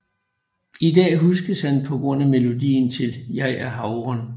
I dag huskes han på grund af melodien til Jeg er havren